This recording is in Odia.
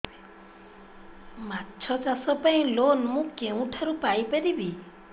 ମାଛ ଚାଷ ପାଇଁ ଲୋନ୍ ମୁଁ କେଉଁଠାରୁ ପାଇପାରିବି